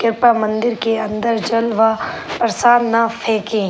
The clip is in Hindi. कृप्या मंदिर के अंदर जल व प्रसाद न फेंके।